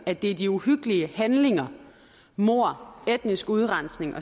at det er de uhyggelige handlinger mord etnisk udrensning